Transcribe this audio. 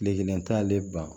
Kile kelen t'ale ban